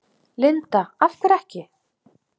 Linda: Af hverju ekki?